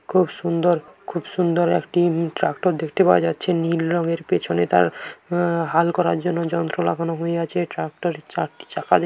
খুব সুন্দর খুব সুন্দর একটি উ-ম ট্রাক্টর দেখতে পাওয়া যাচ্ছে নীল রঙের পেছনে তার আ--হ হাল করার জন্য যন্ত্র লাগানো হইয়াছে ট্রাক্টরের -এর চারটি চাকা দেখতে --